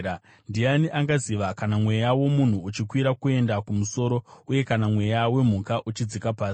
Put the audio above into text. Ndiani angaziva kana mweya womunhu uchikwira kuenda kumusoro uye kana mweya wemhuka uchidzika pasi?”